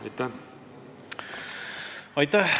Aitäh!